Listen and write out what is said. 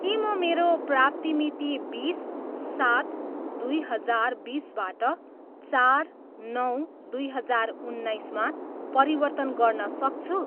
के म मेरो प्राप्ति मिति बिस, सात, दुई हजार बिसबाट चार, नौ, दुई हजार उन्नाइसमा परिवर्तन गर्न सक्छु?